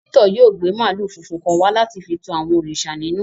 Victor yóò gbe maalu funfun kan wa lati fi tù àwọn òrìṣà ninù.